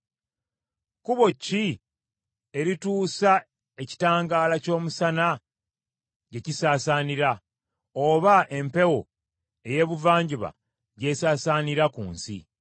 Kkubo ki erituusa ekitangaala ky’omusana gye kisaasaanira, oba empewo ey’ebuvanjuba gy’esaasaanira ku nsi?